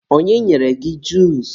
onye nyere gị juusu?